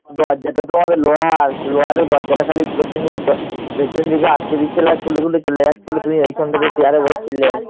দরজাটা তোমাদের লোহার। লোহার ওই দরজাটা খালি পেছন দিকে, পেছন দিকে আটকে দিচ্ছিল আর খুলে খুলে চলে যাচ্ছিল